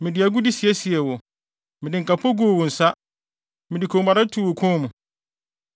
Mede agude siesiee wo, mede nkapo guu wo nsa, mede kɔnmuade too wo kɔn mu,